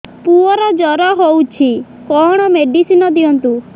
ପୁଅର ଜର ହଉଛି କଣ ମେଡିସିନ ଦିଅନ୍ତୁ